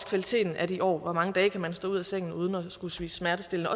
kvaliteten af de år hvor mange dage man kan stå ud af sengen uden at skulle spise smertestillende